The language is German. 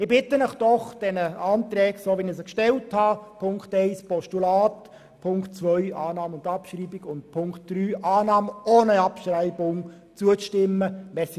Ich bitte Sie, den Anträgen, wie ich sie gestellt habe – Ziffer 1 als Postulat, Ziffer 2 Annahme und Abschreibung sowie Ziffer 3 Annahme ohne Abschreibung –, zuzustimmen. .